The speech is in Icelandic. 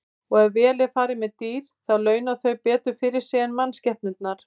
Og ef vel er farið með dýr þá launa þau betur fyrir sig en mannskepnurnar.